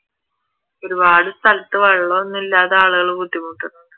ഒരുപാട് സ്ഥലത്തു വെള്ളം ഒന്നുമില്ലാതെ ആളുകൾ ബുദ്ധിമുട്ടുന്നുണ്ട്